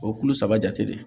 O ye kulo saba jate de ye